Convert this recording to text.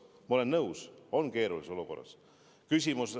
Ma olen nõus, on tõesti keerulises olukorras.